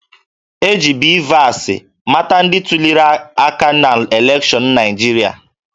E ji BVAS mata ndị tuliri aka n'elekshọnụ Naịjirịa